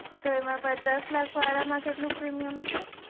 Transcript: તો એમાં પચાસ લાખ વાળા માં કેટલું premium છે